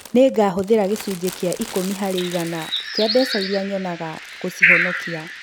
Nĩ ngahũthĩra gĩcunjĩ gĩa ĩkũmi harĩ igana kĩa mbeca iria nyonaga gũcihonokia.